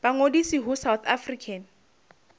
ba ngodise ho south african